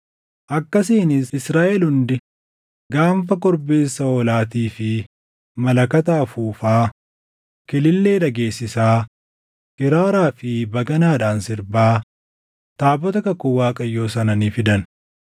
Akkasiinis Israaʼel hundi gaanfa korbeessa hoolaatii fi malakata afuufaa, kilillee dhageessisaa, kiraaraa fi baganaadhaan sirbaa taabota kakuu Waaqayyoo sana ni fidan.